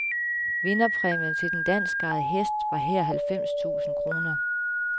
Vinderpræmien til den danskejede hest var her halvfems tusind kroner.